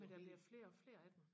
men der er flere og flere af dem